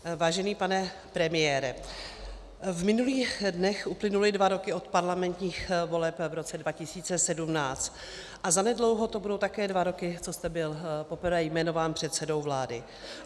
Vážený pane premiére, v minulých dnech uplynuly dva roky od parlamentních voleb v roce 2017 a zanedlouho to budou také dva roky, co jste byl poprvé jmenován předsedou vlády.